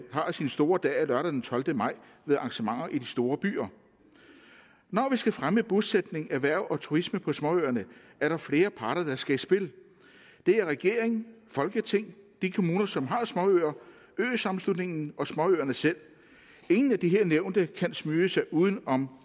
har sin store dag lørdag den tolvte maj med arrangementer i de store byer når vi skal fremme bosætning erhverv og turisme på småøerne er der flere parter der skal i spil det er regering folketing de kommuner som har småøer øsammenslutningen og småøerne selv ingen af de her nævnte kan smyge sig uden om